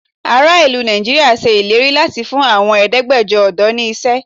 Ààrẹ ìlú Nigeria ṣe ìlérí láti fún àwọn Ẹ̀ẹ́dẹ́gbẹjọ ọ̀dọ́ ni iṣẹ́.